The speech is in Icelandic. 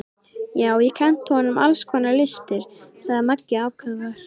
Já, og kennt honum alls konar listir, sagði Maggi ákafur.